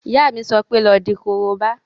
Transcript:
Ìyá mi yóò sọ pé "lọ di korobá!"